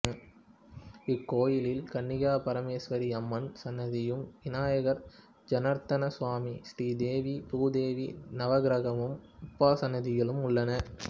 இக்கோயிலில் கன்னிகாபரமேஸ்வரியம்மன் சன்னதியும் விநாயகர் ஜெனார்த்தனசுவாமி ஸ்ரீதேவி பூதேவி நவக்கிரகம் உபசன்னதிகளும் உள்ளன